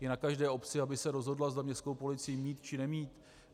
Je na každé obci, aby se rozhodla, zda městskou policii mít, či nemít.